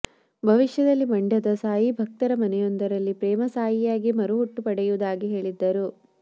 ಭವಿಷ್ಯದಲ್ಲಿ ಮಂಡ್ಯದ ಸಾಯಿ ಭಕ್ತರ ಮನೆಯೊಂದರಲ್ಲಿ ಪ್ರೇಮ ಸಾಯಿಯಾಗಿ ಮರುಹುಟ್ಟು ಪಡೆಯುವುದಾಗಿ ಹೇಳಿದ್ದರು